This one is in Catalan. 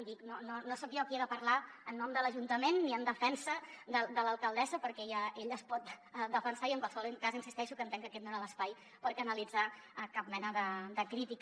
i dic no soc jo qui he de parlar en nom de l’ajuntament ni en defensa de l’alcaldessa perquè ella es pot defensar i en qualsevol cas insisteixo que entenc que aquest no era l’espai per canalitzar cap mena de crítica